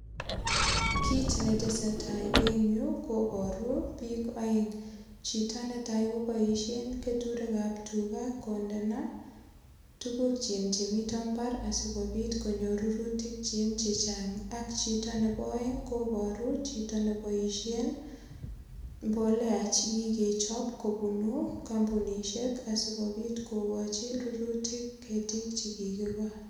Kit netesetai en yu kobaru biik aeng. Chito netai koboisien keturekab tuga kondena tugukchik chemito mbar asigopit konyor rurutikkyik che chang ak chito nebo aeng kobaru chito neboisien mbolea chekikechop kobunu kampunisiek asikopit kokochi rurutik ketik che kikigol.